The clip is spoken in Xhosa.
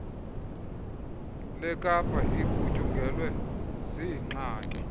lekapa igutyungelwe ziingxaki